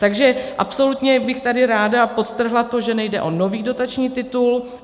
Takže absolutně bych tady ráda podtrhla to, že nejde o nový dotační titul.